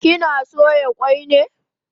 Kina soya kwai ne?